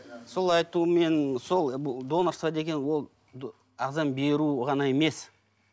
сол айтуменен сол донорства деген ол ағзаны беру ғана емес